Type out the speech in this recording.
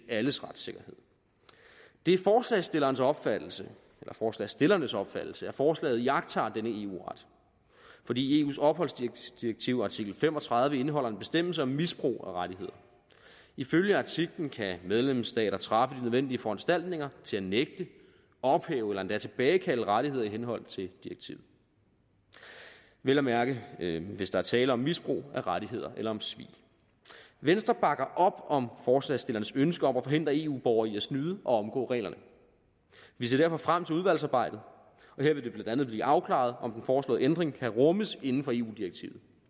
alles retssikkerhed det er forslagsstillernes opfattelse forslagsstillernes opfattelse at forslaget iagttager denne eu ret fordi eus opholdsdirektiv artikel fem og tredive indeholder en bestemmelse om misbrug af rettigheder ifølge artiklen kan medlemsstater træffe de nødvendige foranstaltninger til at nægte og ophæve og endda tilbagekalde rettigheder i henhold til direktivet vel at mærke hvis der er tale om misbrug af rettigheder eller om svig venstre bakker op om forslagsstillernes ønske om at forhindre eu borgere i at snyde og omgå reglerne vi ser derfor frem til udvalgsarbejdet og her vil det blandt andet blive afklaret om den foreslåede ændring kan rummes inden for eu direktivet